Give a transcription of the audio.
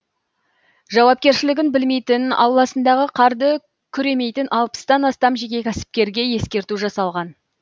жауапкершілігін білмейтін ауласындағы қарды күремейтін алпыстан астам жеке кәсіпкерге ескерту жасалған